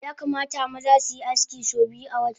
Yakamata maza suyi aski so biyu awata